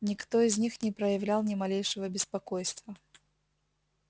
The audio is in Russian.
никто из них не проявлял ни малейшего беспокойства